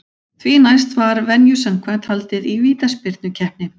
Því næst var venju samkvæmt haldið í vítaspyrnukeppni.